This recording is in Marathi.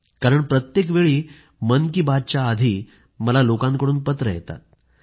कारण प्रत्येकवेळी मन की बातच्या आधी मला लोकांकडून पत्रं येतात